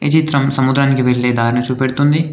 ఈ చిత్రం సముద్రానికి వెళ్లే దారిని చూపెడుతుంది.